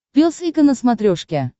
пес и ко на смотрешке